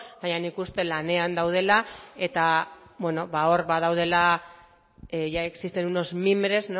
baina nik uste lanean daudela eta hor badaudela ya existen unos mimbres